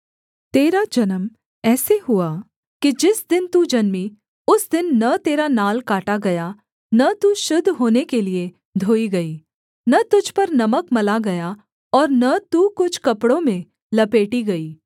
तेरा जन्म ऐसे हुआ कि जिस दिन तू जन्मी उस दिन न तेरा नाल काटा गया न तू शुद्ध होने के लिये धोई गई न तुझ पर नमक मला गया और न तू कुछ कपड़ों में लपेटी गई